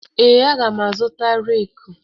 Ee, aga m azụta reeku.